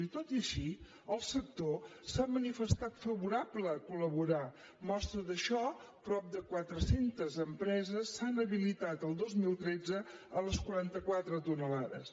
i tot i així el sector s’ha manifestat favorable a col·laborar mostra d’això prop de quatre centes empreses s’han habilitat el dos mil tretze a les quaranta quatre tones